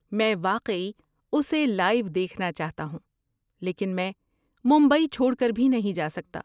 میں واقعی اسے لائیو دیکھنا چاہتا ہوں، لیکن میں ممبئی چھوڑ کر بھی نہیں جا سکتا۔